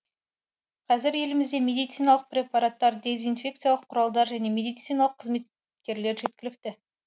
қазір елімізде медициналық препараттар дезинфекциялық құралдар және медициналық қызметкерлер жеткілікті